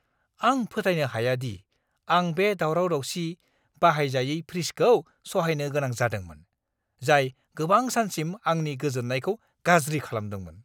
आं फोथायनो हाया दि आं बे दावराव-दावसि, बाहायजायै फ्रिजखौ सहायनो गोनां जादोंमोन, जाय गोबां सानसिम आंनि गोजोन्नायखौ गाज्रि खालामदोंमोन!